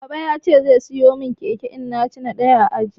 Baba ya ce zai siya mun keke in na ci ɗaya a aji